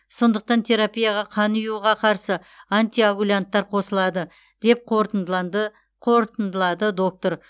сондықтан терапияға қан ұюға қарсы антикоагулянттар қосылады деп қорытындылады доктор